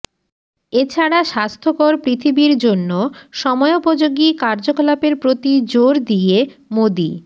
এ ছাড়া স্বাস্থ্যকর পৃথিবীর জন্য সময়োপযোগী কার্যকলাপের প্রতি জোর দিয়ে মোদি